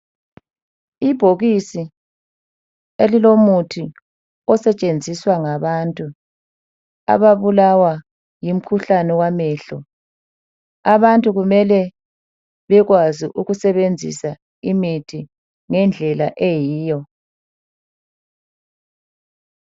Ibhokisi elilomuthi osetshenziswa ngabantu ababulawa yimkhuhlane wamehlo . Abantu kumele bekwazi ukusebenzisa imithi ngendlela eyiyo.